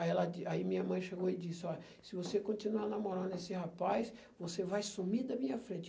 Aí ela di aí minha mãe chegou e disse, olha, se você continuar namorando esse rapaz, você vai sumir da minha frente.